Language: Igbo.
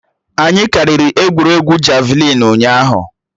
Anyị kiriri egwuregwu javịlịn ụnyaahụ